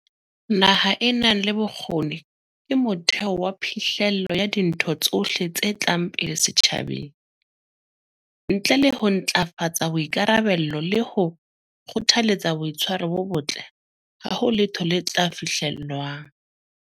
Naha e nang le bokgoni ke motheo wa phihlello ya dintho tsohle tse tlang pele setjhabeng. Ntle le ho ntlafatsa boikarabello le ho kgothaletsa boitshwaro bo botle, ha ho letho le tla fihlellwang.